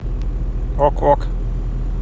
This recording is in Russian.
ок ок